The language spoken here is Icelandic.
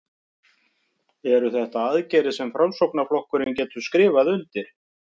Eru þetta aðgerðir sem að Framsóknarflokkurinn getur skrifað undir?